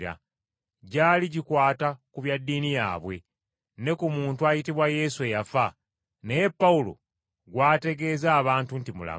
Gyali gikwata ku bya ddiini yaabwe, ne ku muntu ayitibwa Yesu eyafa, naye Pawulo gw’ategeeza abantu nti mulamu!